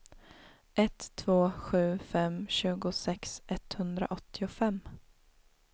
ett två sju fem tjugosex etthundraåttiofem